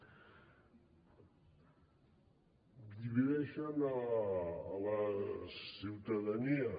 divideixen la ciutadania